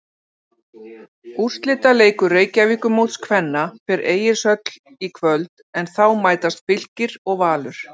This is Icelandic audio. Úrslitaleikur Reykjavíkurmóts kvenna fer Egilshöll í kvöld en þá mætast Fylkir og Valur.